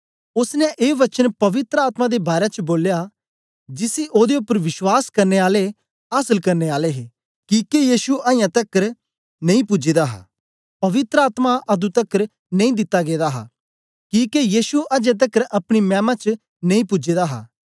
ओसने ए वचन पवित्र आत्मा दे बारै च बोलया जिसी ओदे उपर विश्वास करने आले आसल करने आले हे किके यीशु अजां तकर अपनी गी नेई पूजे दा हा पवित्र आत्मा अतुं तकर नेई दिता गेदा हां किके यीशु अजें तकर अपनी मैमा च नेई पूजे दा हा